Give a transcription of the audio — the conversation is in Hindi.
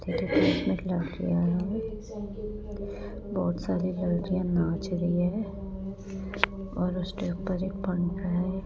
लड़कियां है बहुत सारी लड़कियां नाच रही है और उसके ऊपर एक पंखा है।